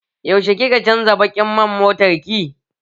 Yaushe kika canza baƙin man motar ki?